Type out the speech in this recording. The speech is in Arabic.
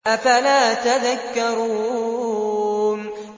أَفَلَا تَذَكَّرُونَ